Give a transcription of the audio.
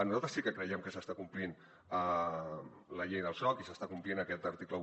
nosaltres sí que creiem que s’està complint la llei del soc i s’està complint aquest article un